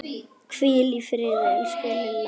Hvíl í friði, elsku Lilla.